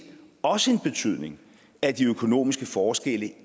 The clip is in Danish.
også en betydning at de økonomiske forskelle